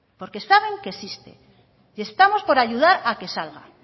porque saben que existe y estamos por ayudar a que salga